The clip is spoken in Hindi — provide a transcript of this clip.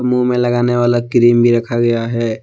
मुंह में लगाने वाला क्रीम भी रखा गया है।